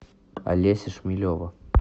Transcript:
олеся шмелева